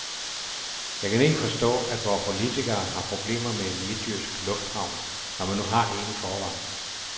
Jeg kan ikke forstå, at vore politikere har problemer med en midtjysk lufthavn, når man nu har en i forvejen.